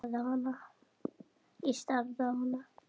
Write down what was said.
Ég starði á hana.